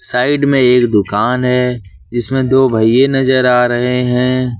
Side में एक दुकान है जिसमें दो भइये नजर आ रहे हैं।